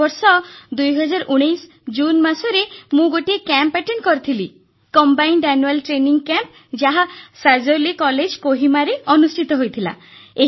ଏ ବର୍ଷ 2019 ଜୁନ୍ ମାସରେ ମୁଁ ଗୋଟିଏ କ୍ୟାମ୍ପରେ ଯୋଗ ଦେଇଥିଲି କମ୍ବାଇନ୍ଡ ଆନୁଆଲ ଟ୍ରେନିଂ କ୍ୟାମ୍ପ ଯାହା କୋହିମାର ସାଜୋଲି କଲେଜରେ ଅନୁଷ୍ଠିତ ହୋଇଥିଲା